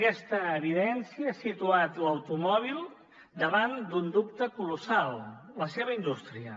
aquesta evidència ha situat l’automòbil davant d’un dubte colossal la seva indústria